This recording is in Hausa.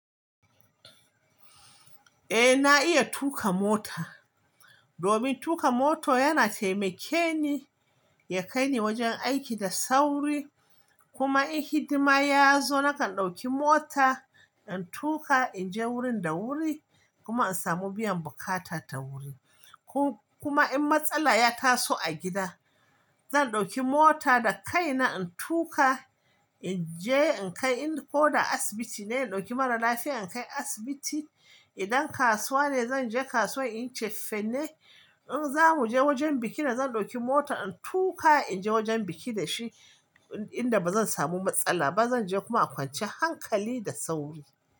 Eh na iya tuƙa mota. Domin tuƙa moto yana taimakeni ya kai ni wajen aiki da sauri. Kuma in hidima ya zo nakan ɗauki mota in tuƙa in je wurin da wuri kuma in samu biyan bukata ta wuri. Kuma in matsala ya taso a gida, zan ɗauki mota da kaina in tuƙa in je in kai in ko da asibiti ne in ɗauki mara lafiya in kai asibiti. Idan kasuwa ne zan je kasuwa in cefene. In za mu je wajen biki na zan ɗauki mota in tuƙa in je wajen biki da shi inda ba zan samu matsala ba. Zan je kuma a kwanciyan hankali da sauri.